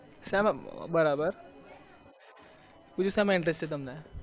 શાનો બરાબર બીજો સામા interest છે તમને